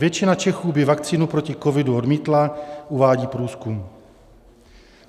Většina Čechů by vakcínu proti covidu odmítla, uvádí průzkum.